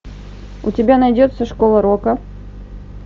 у тебя найдется школа рока